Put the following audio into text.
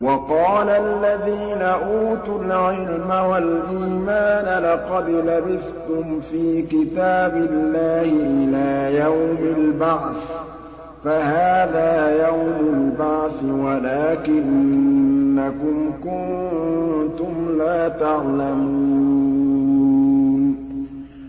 وَقَالَ الَّذِينَ أُوتُوا الْعِلْمَ وَالْإِيمَانَ لَقَدْ لَبِثْتُمْ فِي كِتَابِ اللَّهِ إِلَىٰ يَوْمِ الْبَعْثِ ۖ فَهَٰذَا يَوْمُ الْبَعْثِ وَلَٰكِنَّكُمْ كُنتُمْ لَا تَعْلَمُونَ